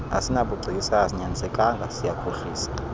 asinabugcisa asinyanisekanga siyakhohlisa